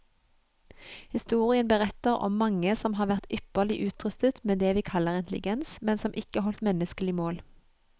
Historien beretter om mange som har vært ypperlig utrustet med det vi kaller intelligens, men som ikke holdt menneskelig mål.